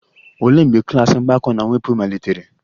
Olee mgbe klas mgbakọ na mwepụ malitere?